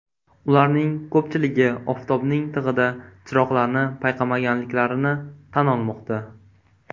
Ularning ko‘pchiligi oftobning tig‘ida chiroqlarni payqamaganliklarini tan olmoqda.